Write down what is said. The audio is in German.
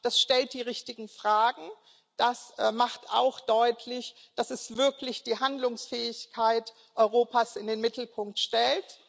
Es stellt die richtigen Fragen, es macht auch deutlich, dass es wirklich die Handlungsfähigkeit Europas in den Mittelpunkt stellt.